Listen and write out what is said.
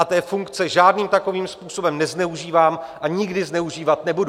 A té funkce žádným takovým způsobem nezneužívám a nikdy zneužívat nebudu.